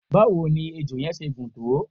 báwo ni ejò yẹn ṣe gùn tó?